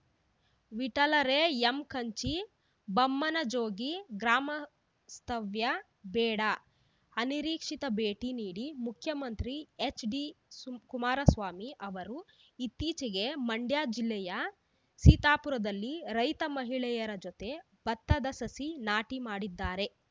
ವಿಠಲರೇಯಂಕಂಚಿ ಬಮ್ಮನಜೋಗಿ ಗ್ರಾಮಸ್ತವ್ಯ ಬೇಡ ಅನಿರೀಕ್ಷಿತ ಭೇಟಿ ನೀಡಿ ಮುಖ್ಯಮಂತ್ರಿ ಎಚ್‌ಡಿ ಕುಮಾರಸ್ವಾಮಿ ಅವರು ಇತ್ತೀಚೆಗೆ ಮಂಡ್ಯ ಜಿಲ್ಲೆಯ ಸೀತಾಪುರದಲ್ಲಿ ರೈತ ಮಹಿಳೆಯರ ಜತೆ ಭತ್ತದ ಸಸಿ ನಾಟಿ ಮಾಡಿದ್ದಾರೆ